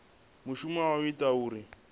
mushumo wa u ita uri